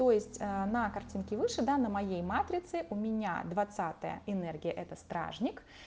то есть на картинке выше да на моей матрице у меня двадцатая энергия это стражник